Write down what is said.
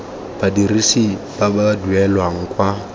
badirisi ba ba duelang kwa